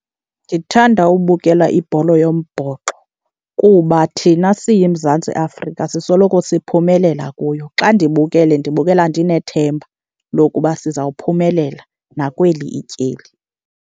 Ndithanda ubukela ibhola yombhoxo kuba thina siyiMzantsi Afrika sisoloko siphumelela kuyo. Xa ndibukele ndibukela ndinethemba lokuba sizawuphumela nakweli ityeli.